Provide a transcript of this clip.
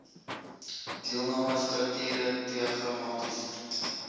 deelname strukture diagramaties